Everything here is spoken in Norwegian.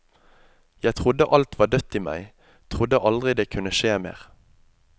Jeg trodde alt var dødt i meg, trodde aldri det kunne skje mer.